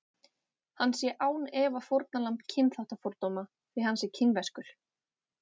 Hann sé án efa fórnarlamb kynþáttafordóma því hann sé kínverskur.